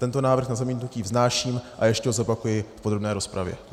Tento návrh na zamítnutí vznáším a ještě ho zopakuji v podrobné rozpravě.